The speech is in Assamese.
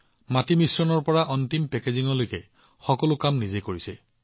ক্লে মিক্সিঙৰ পৰা ফাইনেল পেকেজিঙলৈকে তেওঁলোকে সকলো কাম নিজেই কৰিছিল